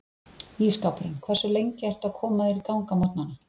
Ísskápurinn Hversu lengi ertu að koma þér í gang á morgnanna?